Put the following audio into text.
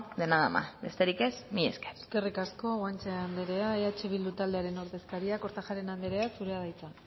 de nada más besterik ez mila esker eskerrik asko guanche anderea eh bildu taldearen ordezkaria kortajarena anderea zurea da hitza